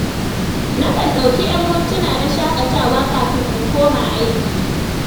Na kan ɗauki ‘yan mintuna na shaƙatawa kafin in koma aiki.